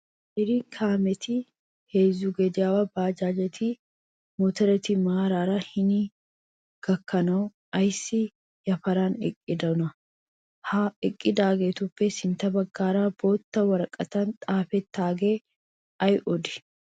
Qeeri Kaameti, heezzu goomaawa bajaajetinne motooreti maaraara hini gakkanawu ayissi yaparan eqqidonaa? Ha eqqidaagetuppe sintta baggan boota woraqatan xaapettaage ayi odii?